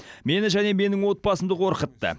мені және менің отбасымды қорқытты